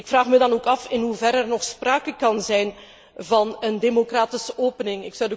Ik vraag me dan ook af in hoeverre er nog sprake kan zijn van een democratische opening.